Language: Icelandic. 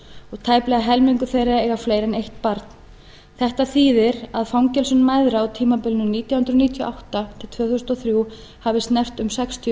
og tæplega helmingur þeirra á fleiri en eitt barn þetta þýðir að fangelsun mæðra á tímabilinu nítján hundruð níutíu og átta til tvö þúsund og þrjú hafði snert um sextíu